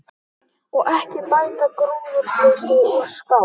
Og ekki bætti gróðurleysið úr skák.